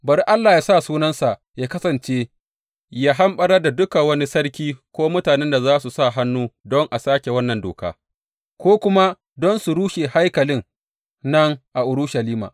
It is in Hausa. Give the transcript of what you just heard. Bari Allah yă sa sunansa yă kasance, yă hamɓarar da duka wani sarki ko mutanen da za su sa hannu don a sāke wannan doka, ko kuma don su rushe haikalin nan a Urushalima.